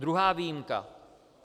Druhá výjimka.